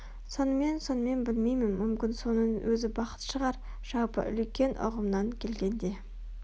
сонымен сонымен білмеймін мүмкін соның өзі бақыт шығар жалпы үлкен ұғымнан келгенде